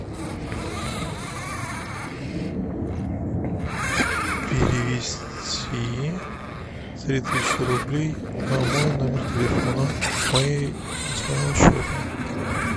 перевести три тысячи рублей на мой номер телефона с моей с моего счета